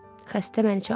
Xəstə məni çağırdı.